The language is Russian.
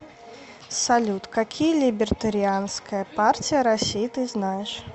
салют какие либертарианская партия россии ты знаешь